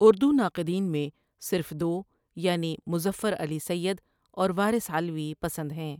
اُردو ناقدین میں صرف دو یعنی مظفر علی سیّد اور وارث علوی پسند ہیں